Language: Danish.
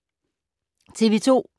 TV 2